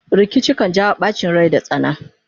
rikici kan jawo ɓacin Rai da tsana